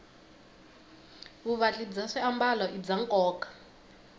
vuvatli bya swiambalo i bya nkoka